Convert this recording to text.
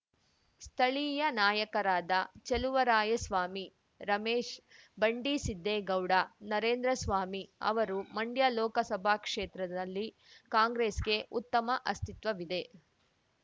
ಸ್ಥಳೀಯ ನಾಯಕರಾದ ಚೆಲುವರಾಯಸ್ವಾಮಿ ರಮೇಶ್‌ ಬಂಡಿಸಿದ್ದೇಗೌಡ ನರೇಂದ್ರಸ್ವಾಮಿ ಅವರು ಮಂಡ್ಯ ಲೋಕಸಭಾ ಕ್ಷೇತ್ರದಲ್ಲಿ ಕಾಂಗ್ರೆಸ್‌ಗೆ ಉತ್ತಮ ಅಸ್ತಿತ್ವವಿದೆ